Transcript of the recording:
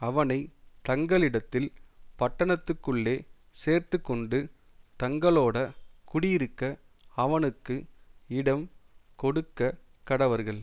அவனை தங்களிடத்தில் பட்டணத்துக்குள்ளே சேர்த்துக்கொண்டு தங்களோட குடியிருக்க அவனுக்கு இடம் கொடுக்க கடவர்கள்